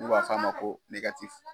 N'u b'a fɔ a ma ko